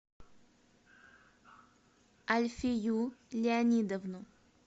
альфию леонидовну